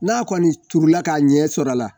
N'a kɔni turula ka ɲɛ sɔrɔ a la